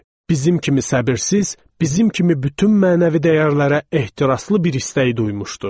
Bizim kimi səbirsiz, bizim kimi bütün mənəvi dəyərlərə ehtiraslı bir istək duymuşdu.